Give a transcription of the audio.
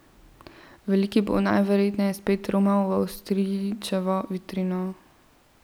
Veliki bo, najverjetneje, spet romal v Avstrijčevo vitrino.